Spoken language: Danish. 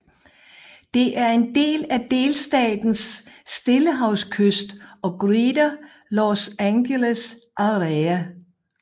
Det er en del af delstatens stillehavskyst og Greater Los Angeles Area